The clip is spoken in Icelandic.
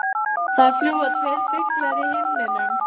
Það fljúga tveir fuglar í himninum.